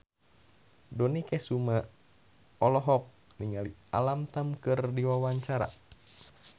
Dony Kesuma olohok ningali Alam Tam keur diwawancara